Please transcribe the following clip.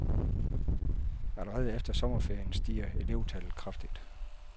Allerede efter sommerferien stiger elevtallet kraftigt.